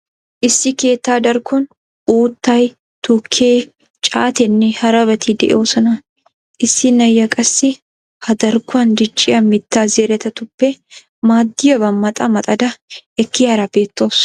issi keetta darkkon uuttay, tukkee, caatteenne harabati de"oosona. issi na"iyaa qassi ha darkkon dicciyaa mittaa zerettatuppe maaddiyaaba maxa maxada ekkiyaara beettawusu.